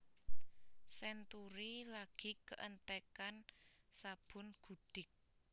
Century lagi keentekan sabun gudik